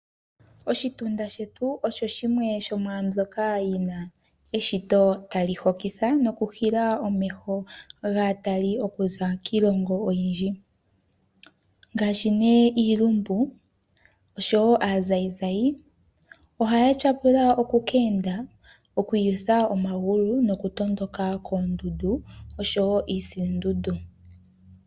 Oshitunda shetu osho shimwe shomwaambyoka yina eshito tali hokitha noku hila omeho gaatali okuza kiilongo oyindji. Ngaashi nee iilumbu oshowo aazayizayi ohaya tyapula okukeenda okwiiyutha omagulu noku tondoka koondundu oshowo iisilundundu.